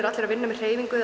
allir að vinna með hreyfingu